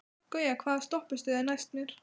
Gauja, hvaða stoppistöð er næst mér?